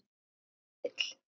Hvar er Egill?